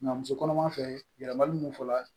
Nka muso kɔnɔma fɛ yɛlɛmali min fɔla